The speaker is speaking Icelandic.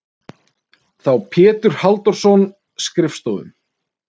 þá Pétur Halldórsson skrifstofum.